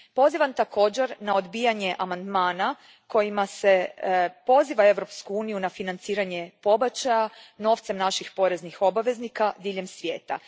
Pozivam također na odbijanje amandmana kojima se poziva Europsku uniju na financiranje pobačaja novcem naših poreznih obveznika diljem svijeta.